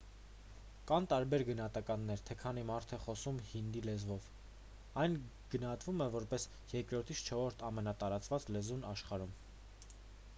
կան տարբեր գնահատականներ թե քանի մարդ է խոսում հինդի լեզվով այն գնահատվում է որպես երկրորդից չորրորդ ամենատարածված լեզուն աշխարհում